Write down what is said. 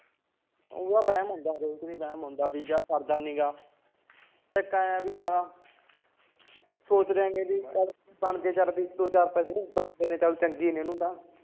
ਆਹੋ ਹਰੇਕ ਦੇ ਵਹਿਮ ਹੁੰਦਾ ਕਿ ਸਰਦਾ ਨੀ ਗਾ ਧੱਕਾ ਐ ਕਿ ਸੋਚਦਾ ਐ ਬਣ ਜੇ ਦੋ ਚਾਰ ਪੈਸੇ ਚਲ ਚੰਗੇ ਨੇ ਉਹਨੂੰ ਤਾਂ